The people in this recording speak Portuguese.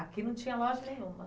Aqui não tinha loja nenhuma?